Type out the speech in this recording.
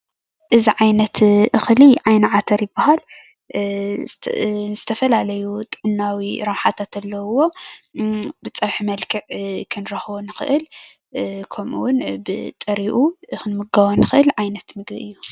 እዚ ዓይነት እክሊ ዓይኒ ዓተር ይብሃል፤ ዝተፈላለዩ ጥዕናዊ ረብሓታት ኣለዉዎ፤ ብጽብሒ መልክዕ ክንረክቦ ንክእል ከሙኡ ውን ብጥሪኡ ክንምገቦ ንክእል ዓይነት ምግቢ እዩ።